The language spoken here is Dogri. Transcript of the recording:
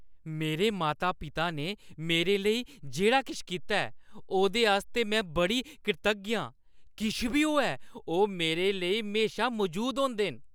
मेरे माता-पिता ने मेरे लेई जेह्ड़ा किश कीता ऐ, ओह्दे आस्तै में बड़ी कृतज्ञ आं। किश बी होऐ , ओह् मेरे लेई म्हेशा मजूद होंदे न।